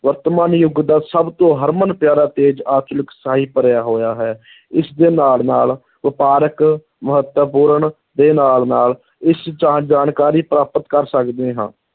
ਵਰਤਮਾਨ ਯੁਗ ਦਾ ਸਭ ਤੋਂ ਹਰਮਨ-ਪਿਆਰਾ, ਤੇਜ਼, ਅਚੂਕ ਭਰਿਆ ਹੋਇਆ ਹੈ ਇਸਦੇ ਨਾਲ ਨਾਲ ਵਪਾਰਕ ਮਹੱਤਵਪੂਰਨ ਦੇ ਨਾਲ ਨਾਲ ਇਸ ਜਾਣਕਾਰੀ ਪ੍ਰਾਪਤ ਕਰ ਸਕਦੇ ਹਾਂ